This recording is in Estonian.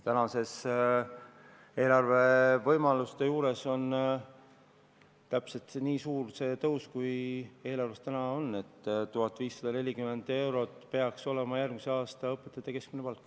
Eelarve tänaste võimaluste tõttu on see tõus täpselt nii suur, kui see eelarves on: 1540 eurot peaks olema järgmisel aastal õpetajate keskmine palk.